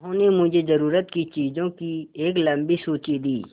उन्होंने मुझे ज़रूरत की चीज़ों की एक लम्बी सूची दी